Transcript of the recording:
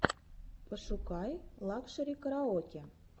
пошукай лакшери караоке